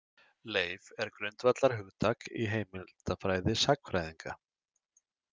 Leif er grundvallarhugtak í heimildafræði sagnfræðinga.